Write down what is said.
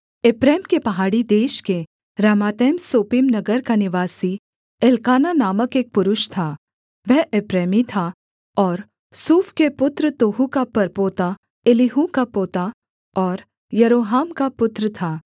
एप्रैम के पहाड़ी देश के रामातैम सोपीम नगर का निवासी एल्काना नामक एक पुरुष था वह एप्रैमी था और सूफ के पुत्र तोहू का परपोता एलीहू का पोता और यरोहाम का पुत्र था